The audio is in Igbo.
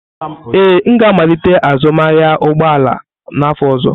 Ee, m ga-amalite azụmahịa ụgbọ ala n'afọ ọzọ.